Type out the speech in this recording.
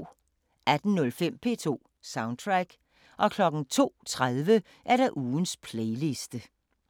18:05: P2 Soundtrack 02:30: Ugens playliste